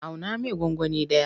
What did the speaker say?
Auna mai gwangwani ɗaya.